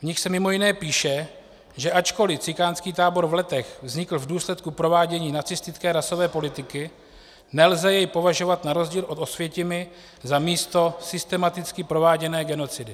V nich se mimo jiné píše, že ačkoliv cikánský tábor v Letech vznikl v důsledku provádění nacistické rasové politiky, nelze jej považovat na rozdíl od Osvětimi za místo systematicky prováděné genocidy.